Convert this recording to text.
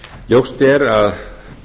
ljóst er að